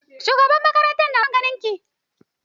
Shugaban makaranta na son ganin ki.